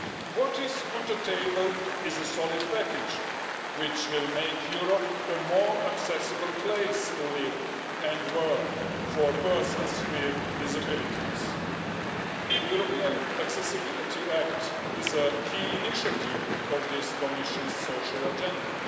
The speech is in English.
What is on the table is a solid package which will make Europe a more accessible place to live and work for persons with disabilities. The European Accessibility Act is a key initiative of this Commission's social agenda.